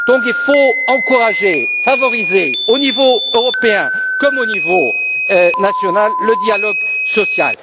Il faut encourager et favoriser, au niveau européen comme au niveau national, le dialogue